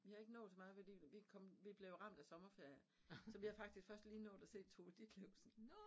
Vi har ikke nået så meget fordi vi kom vi blevet ramt af sommerferie, så vi har faktisk først lige nået at se Tove Ditlevsen